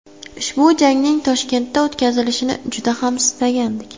Ushbu jangning Toshkentda o‘tkazilishini juda ham istagandik.